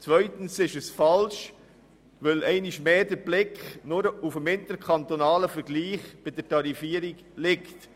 Zweitens ist er falsch, weil einmal mehr der Blick nur auf dem interkantonalen Vergleich der Tarifierung liegt.